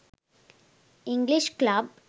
english club